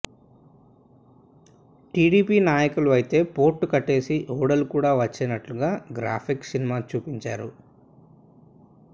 TDP నాయకులు అయితే port కట్టేసి ఓడలు కూడా వచ్చేనట్లుగా గ్రాఫిక్స్ సినిమా చూపించారు